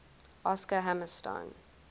oscar hammerstein